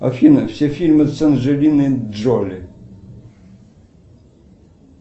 афина все фильмы с анджелиной джоли